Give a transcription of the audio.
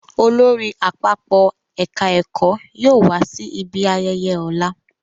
Olórí àpapọ̀ ẹ̀ka ẹ̀kọ́ yóò wá sí ibi ayẹyẹ ọ̀la